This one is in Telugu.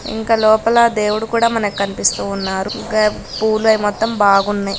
పూలు అవి మొత్తం ఉన్నాయి.ఇంకా లోపల దేవుడు కూడా మనకు కనిపిస్తూ ఉన్నారు.